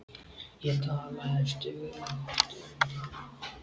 Ég talaði stöðugt um hann.